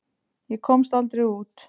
Ég komst aldrei út.